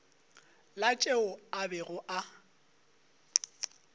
la tšeo a bego a